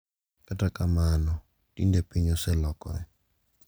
Kata kamano tinde piny oselokore.